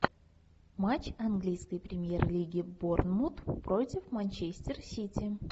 матч английской премьер лиги борнмут против манчестер сити